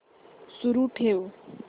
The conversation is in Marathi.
सुरू ठेव